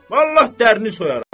Vallah dərinni soyaram.